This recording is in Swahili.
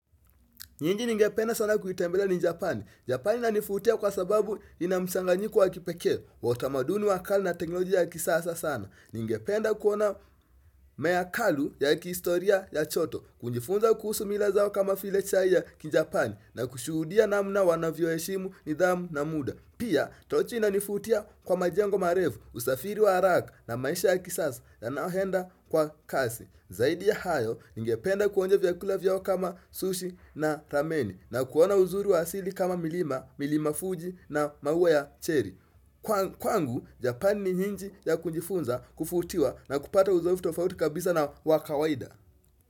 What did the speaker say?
Nyingi ningependa sana kuitembelea ni Japani. Japani inanifutia kwa sababu ina msanganyiku wa kipeke. Wa utamaduni wakale na teknolojia ya kisasa sana. Ningependa kuona meakalu ya kistoria ya choto. Kunjifunza kuhusu mila zao kama file chai ya ki Japani. Na kushuhudia namna wanavyo heshimu ni dhamu na muda. Pia, tochi inanifutia kwa majengo marevu, usafiri wa haraka na maisha ya kisasa yanaohenda kwa kasi. Zaidi ya hayo ningependa kuonja vyakula vyao kama sushi na rameni na kuona uzuri wa asili kama milima, milima fuji na maua ya cherry. Kwangu, Japan ni nji ya kunjifunza kufutiwa na kupata uzoevutofauti kabisa na wakawaida.